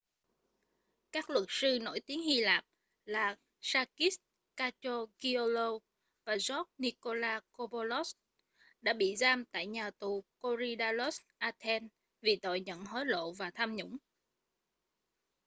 các luật sư nổi tiếng hy lạp là sakis kechagioglou và george nikolakopoulos đã bị giam tại nhà tù korydallus athens vì tội nhận hối lộ và tham nhũng